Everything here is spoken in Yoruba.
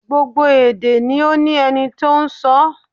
Gbogbo èdè ni ó ní ẹni tó n sọọ́